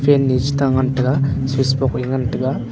fan e che ta ngan tega switch box ngan tega.